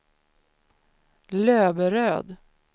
Löberöd